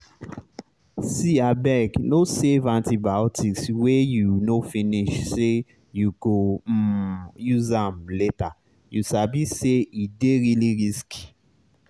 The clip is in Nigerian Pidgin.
seeabeg no save antibiotics wey you no finish say you go um use am lateryou sabi say e dey really risky.